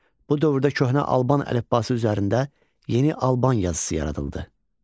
Bu dövrdə köhnə Alban əlifbası üzərində yeni Alban yazısı yaradıldı.